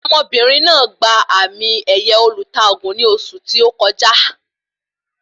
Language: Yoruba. Ọmọbìnrin náà gba àmì ẹ̀yẹ olùta ògùn ní oṣù tí o kọjá